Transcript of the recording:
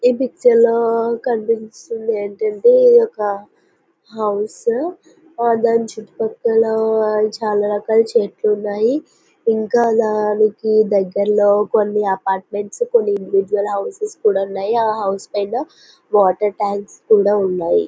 ఈ పిక్చర్ లో కనిపిస్తుంది ఏంటి అంటే ఇది ఒక హౌస్ దాని చుట్టు పక్కల చాలా రకాల చెట్లు ఉన్నాయి ఇంకా దానికి దగ్గరలో కొన్ని అపార్ట్మెంట్స్ కొన్ని ఇండివిడ్యుల్ హౌసెస్ కూడా ఉన్నాయి అ హౌసెస్ పైనా వాటర్ ట్యాంక్స్ కూడా ఉన్నాయి.